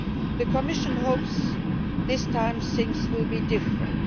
The Commission hopes this time things will be different.